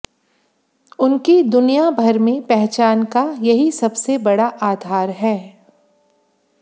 उनकी दुनियाभर में पहचान का यही सबसे बड़ा आधार है